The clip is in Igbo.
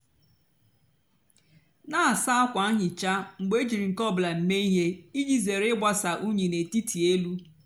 nà-àsa ákwa nhicha mgbe éjírí nkè ọ bụlà mée íhè íjì zére ịgbasa unyi n'ètítí élú.